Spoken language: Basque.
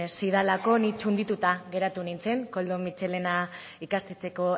zidalako ni txundituta geratu nintzen koldo mitxelena ikastetxeko